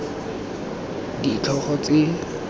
k g r ditlhogo tse